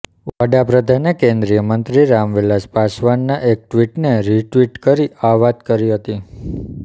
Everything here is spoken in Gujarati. વડાપ્રધાને કેન્દ્રીય મંત્રી રામવિલાસ પાસવાનના એક ટ્વિટને રિટ્વિટ કરી આ વાત કરી હતી